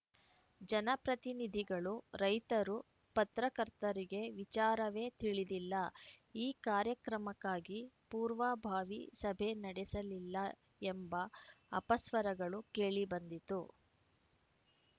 ಜನಪ್ರತಿನಿಧಿಗಳು ರೈತರು ಪತ್ರಕರ್ತರಿಗೆ ವಿಚಾರವೇ ತಿಳಿದಿಲ್ಲ ಈ ಕಾರ್ಯಕ್ರಮಕ್ಕಾಗಿ ಪೂರ್ವಭಾವಿ ಸಭೆ ನಡೆಸಲಿಲ್ಲ ಎಂಬ ಅಪಸ್ವರಗಳು ಕೇಳಿಬಂದಿತು